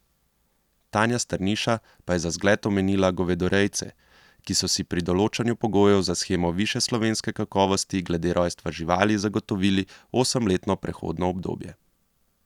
Tanja Strniša pa je za zgled omenila govedorejce, ki so si pri določanju pogojev za shemo višje slovenske kakovosti glede rojstva živali zagotovili osemletno prehodno obdobje.